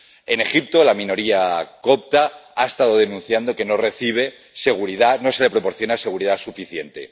En Egipto, la minoría copta ha estado denunciando que no recibe seguridad, no se le proporciona seguridad suficiente.